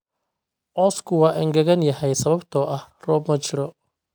Cawsku waa engegan yahay sababtoo ah roob ma jiro